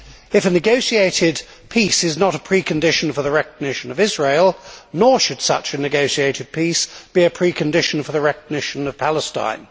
If a negotiated peace is not a precondition for the recognition of Israel, nor should such a negotiated peace be a precondition for the recognition of Palestine.